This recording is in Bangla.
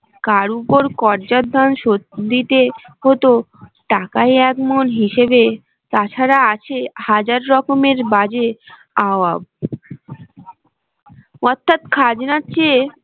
কার উপর কর্যার ধান শোধ দিতে হত টাকায় একমণ হিসেবে তাছাড়া আছে হাজার রকমের বাজে আওয়াব অর্থাৎ খাজনার চেয়ে